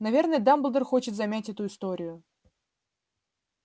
наверное дамблдор хочет замять эту историю